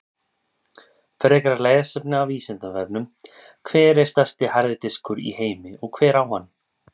Frekara lesefni af Vísindavefnum: Hver er stærsti harði diskur í heimi og hver á hann?